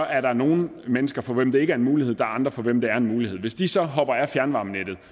er der nogle mennesker for hvem det ikke er en mulighed og andre for hvem det er en mulighed hvis de så hopper af fjernvarmenettet